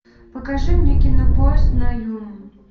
покажи мне кино поезд на юму